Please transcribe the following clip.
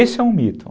Esse é um mito.